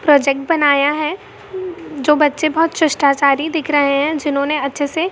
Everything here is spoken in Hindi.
प्रोजेक्ट बनाया है जो बच्चे बहुत शिष्टाचारी दिख रहे हैं जिन्होंने अच्छे से --